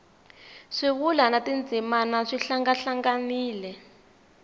swivulwa na tindzimana swi hlangahlanganile